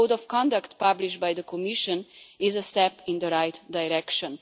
The Code of Conduct published by the Commission is a step in the right direction.